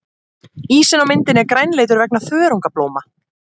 Ísinn á myndinni er grænleitur vegna þörungablóma.